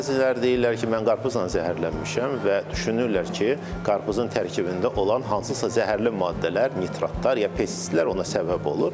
Bəziləri deyirlər ki, mən qarpızdan zəhərlənmişəm və düşünürlər ki, qarpızın tərkibində olan hansısa zəhərli maddələr, nitratlar, ya pestisitlər ona səbəb olur.